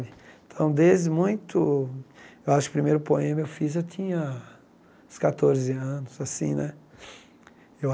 Então, desde muito... Acho que o primeiro poema que fiz tinha uns catorze anos assim né. Eu